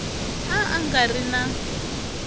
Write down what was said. a a nga ri na